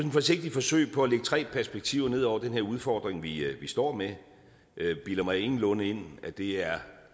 et forsigtigt forsøg på at lægge tre perspektiver ned over den her udfordring vi står med jeg bilder mig ingenlunde ind at det er